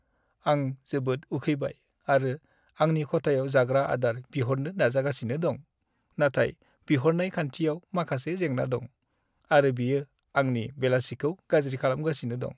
आं जोबोद उखैबाय आरो आंनि खथायाव जाग्रा आदार बिहरनो नाजागासिनो दं, नाथाय बिहरनाय खान्थियाव माखासे जेंना दं, आरो बेयो आंनि बेलासिखौ गाज्रि खालामगासिनो दं।